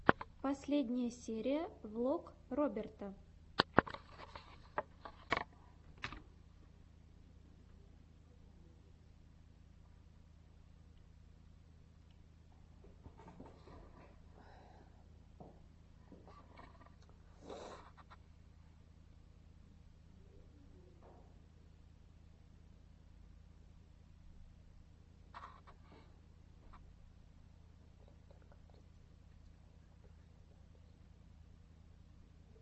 последняя серия влог роберта